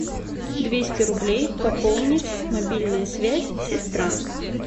двести рублей пополнить мобильная связь сестра